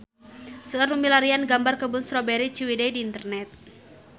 Seueur nu milarian gambar Kebun Strawberry Ciwidey di internet